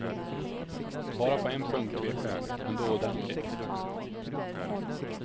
Bara på en punkt tvekar jag, men då ordentligt.